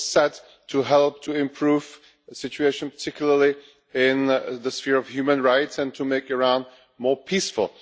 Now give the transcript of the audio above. It was set to help to improve the situation, particularly in the sphere of human rights and to make Iran more peaceful.